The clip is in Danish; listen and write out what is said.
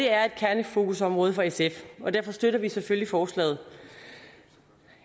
er et kernefokusområde for sf og derfor støtter vi selvfølgelig forslaget